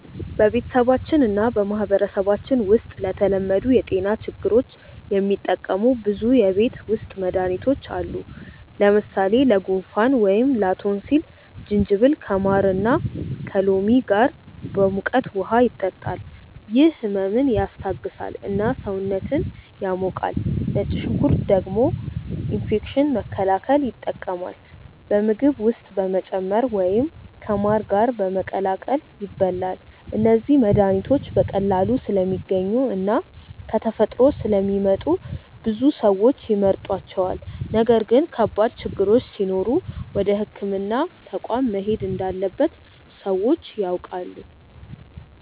በቤተሰባችን እና በማህበረሰባችን ውስጥ ለተለመዱ የጤና ችግሮች የሚጠቀሙ ብዙ የቤት ውስጥ መድሃኒቶች አሉ። ለምሳሌ ለጉንፋን ወይም ላቶንሲል ጅንጅብል ከማር እና ከሎሚ ጋር በሙቀት ውሃ ይጠጣል፤ ይህ ህመምን ያስታግሳል እና ሰውነትን ያሞቃል። ነጭ ሽንኩርት ደግሞ ኢንፌክሽን መከላከል ይጠቀማል፣ በምግብ ውስጥ በመጨመር ወይም ከማር ጋር በመቀላቀል ይበላል። እነዚህ መድሃኒቶች በቀላሉ ስለሚገኙ እና ከተፈጥሮ ስለሚመጡ ብዙ ሰዎች ይመርጧቸዋል። ነገር ግን ከባድ ችግሮች ሲኖሩ ወደ ሕክምና ተቋም መሄድ እንዳለበት ሰዎች ያውቃሉ።